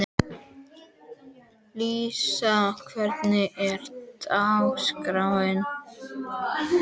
Lúísa, hvernig er dagskráin?